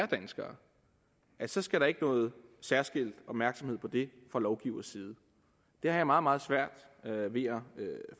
danskere at så skal der ikke noget særskilt opmærksomhed på det fra lovgiveres side det har jeg meget meget svært ved at